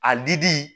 A di di